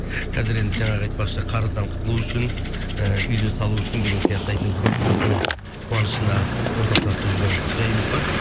қазір енді жаңағы айтпақшы қарыздан құтылу үшін ііі үйді салу үшін деген сияқты әйтеуір көпшіліктің қуанышына ортақтасып жүрген жайымыз бар